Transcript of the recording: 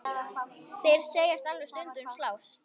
Þeir segjast alveg stundum slást.